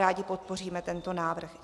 Rádi podpoříme tento návrh.